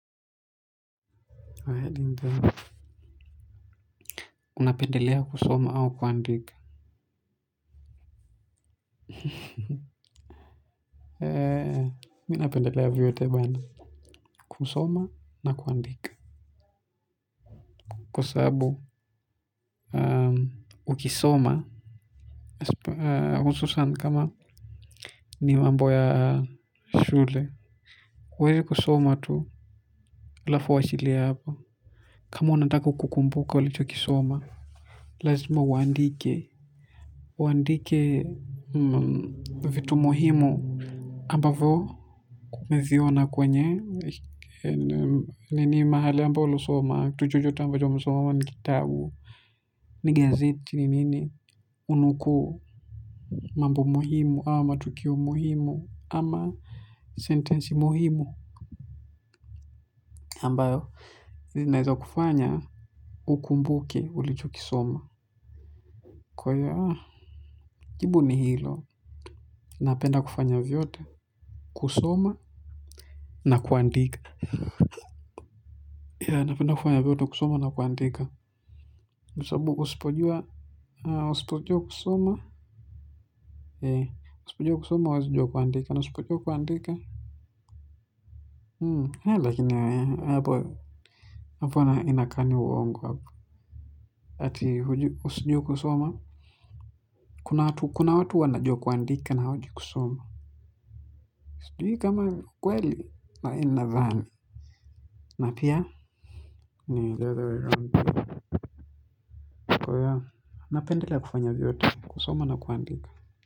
Unapendelea kusoma au kuandika. Mimi napendelea vyote. Kusoma na kuandika. Kwa sababu ukisoma hususan kama ni mambo ya shule. Kweli kusoma tu alafu uwachilie hapo. Kama unataka kukumbuka ulicho kisoma laziuma uandike uandike vitu muhimu ambavyo umeviona kwenye nini mahali amba ulisoma chochote ambacho umesoma kama ni kitabu Nige ziti nini kunukuu mambo muhimu ama matukio muhimu ama sentensi muhimu ambayo naeza kufanya ukumbuke ulichokisoma. Kwa hiyo jibu ni hilo napenda kufanya vyote. Kusoma na kuandika napenda kufanya vyote kusoma na kuandika kwa sababu usipojua kusoma huwezi kujua kuandika na usipojua kuandika ya lakini hapo inakaa ni uongo ati hujui kusoma kuna watu wanajua kuanadika na hawajui kusoma sijui kama ni ukweli lakini nadhani na pia napendelea kufanya vyote kusoma na kuandika.